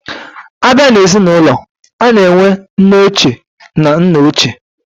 Abia na ezi na ulo, ana enwe nne oche na nna oche.